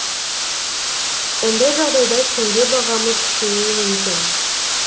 ондай жағдайда теңге бағамы күшеюі мүмкін